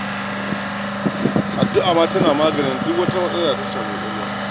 Addu'a ma tana maganin duk wata matsala da ta shafi ƙwaƙwalwa.